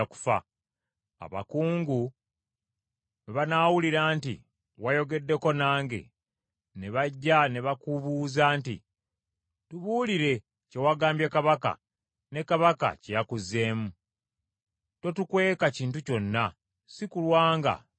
Abakungu bwe banaawulira nti wayogeddeko nange ne bajja ne bakubuuza nti, ‘Tubuulire kye wagambye kabaka ne kabaka kye yakuzeemu, totukweka kintu kyonna sikulwa nga tukutta,’